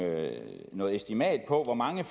noget estimat på hvor mange